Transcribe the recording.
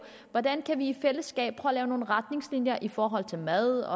hvordan vi i fællesskab kan at lave nogle retningslinjer i forhold til mad